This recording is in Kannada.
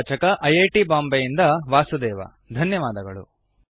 ಇದರ ಪ್ರವಾಚಕ ಐ ಐ ಟಿ ಬಾಂಬೆ ಯಿಂದ ವಾಸುದೇವ ಧನ್ಯವಾದಗಳು